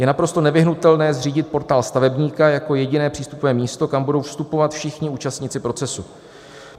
Je naprosto nevyhnutelné zřídit Portál stavebníka jako jediné přístupové místo, kam budou vstupovat všichni účastníci procesu.